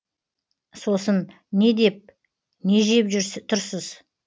сосын не деп не жеп тұрсыз